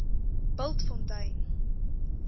bultfontein